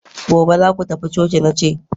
gobe zaku tafi coci, nace!